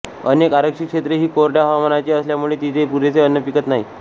अनेक आरक्षित क्षेत्रे ही कोरड्या हवामानाची असल्यामुळे तिथे पुरेसे अन्न पिकत नाही